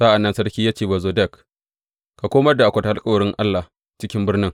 Sa’an nan sarki ya ce wa Zadok, Ka komar da akwatin alkawarin Allah cikin birnin.